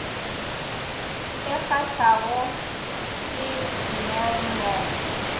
e kgathago ke ner mo